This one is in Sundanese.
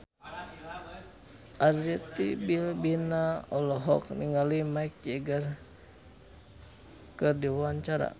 Arzetti Bilbina olohok ningali Mick Jagger keur diwawancara